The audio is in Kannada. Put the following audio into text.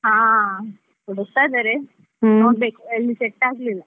ಆ, ಹುಡುಕ್ತಾ ಇದ್ದಾರೆ ಎಲ್ಲಿ set ಆಗ್ಲಿಲ್ಲ.